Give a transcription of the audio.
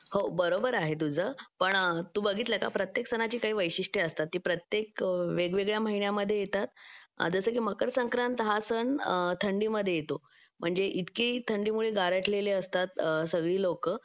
हो बरोबर आहे तुझं पण तू बघितलं का प्रत्येक सणाची काही वैशिष्ट्य असतात ते प्रत्येक वेगवेगळ्या महिन्यांमध्ये येतात जसं की मकर संक्रांत हा सण थंडीमध्ये येतो म्हणजे इतके थंडीमुळे गारठलेले असतात सगळी लोकं